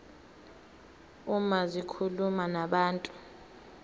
uma zikhuluma nabantu